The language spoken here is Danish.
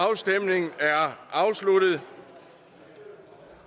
afstemningen er afsluttet